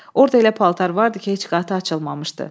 Orda elə paltar vardı ki, heç qatı açılmamışdı.